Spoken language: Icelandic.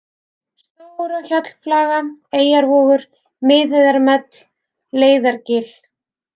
Stóra-Hjallflaga, Eyjavogur, Miðheiðarmell, Leiðargil